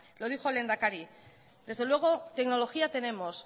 lo dijo el lehendakari desde luego tecnología tenemos